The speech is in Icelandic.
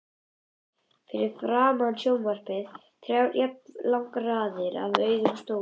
Fyrir framan sjónvarpið þrjár jafnlangar raðir af auðum stólum.